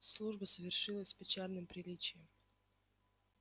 служба совершилась с печальным приличием